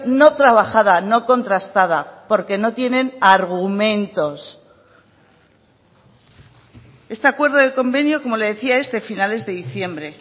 no trabajada no contrastada porque no tienen argumentos este acuerdo de convenio como le decía es de finales de diciembre